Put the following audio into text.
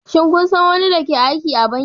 Shin kun san wani da ke aiki a banki?